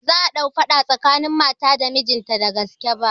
Ba za'a ɗau faɗa tsakanin mata da mijinta da gaske ba